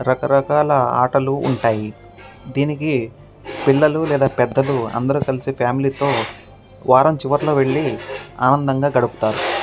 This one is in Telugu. రకరకాలా ఆటలు ఉంటాయి. దీనికి పిల్లలు లేదా పెద్దలు అందరు కలిసి ఫామిలీ తో వారం చివరిలో వెళ్లి ఆనందంగా గడుపుతారు.